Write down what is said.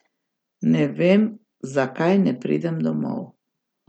Ne vem, zakaj ne pridem domov.